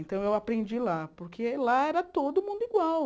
Então, eu aprendi lá, porque lá era todo mundo igual.